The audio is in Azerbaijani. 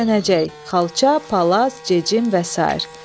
Döşənəcək, xalça, palas, cecim və sair.